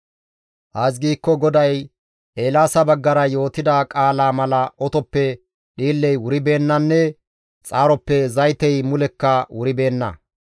Ays giikko GODAY Eelaasa baggara yootida qaalaa mala otoppe dhiilley wuribeennanne xaaroppe zaytey mulekka wuribeenna.